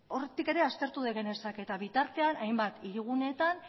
hortik ere aztertu genezake eta bitartean hainbat hiriguneetan